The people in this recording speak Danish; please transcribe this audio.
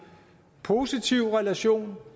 positiv relation